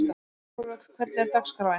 Árvök, hvernig er dagskráin?